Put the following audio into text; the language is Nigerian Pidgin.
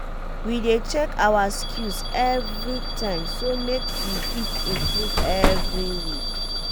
we dey check awa skills everytime so make we fit improve every week.